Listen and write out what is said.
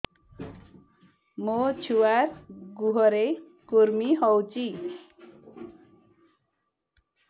ମୋ ଛୁଆର୍ ଗୁହରେ କୁର୍ମି ହଉଚି